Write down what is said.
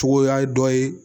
Cogo y'a dɔ ye